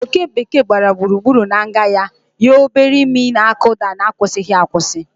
Oké bekee gbara gburugburu na nga ya, ya obere imi na-akụda n'akwụsịghị akwụsị.